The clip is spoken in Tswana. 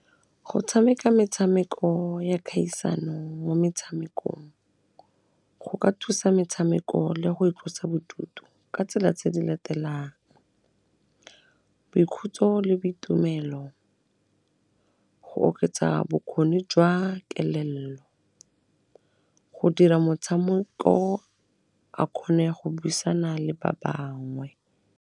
Go tshameka metshameko ya kgaisano mo metshamekong, go ka thusa metshameko le go itlosa bodutu ka tsela tse di latelang, boikhutso le boitumelo, go oketsa bokgoni jwa kelello, go dira motshameko a kgone go buisana le ba bangwe.